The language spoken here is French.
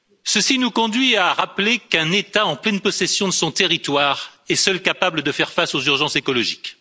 Ceci nous conduit à rappeler qu'un État en pleine possession de son territoire est seul capable de faire face aux urgences écologiques.